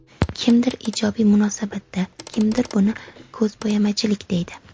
Kimdir ijobiy munosabatda, kimdir buni ko‘zbo‘yamachilik deydi.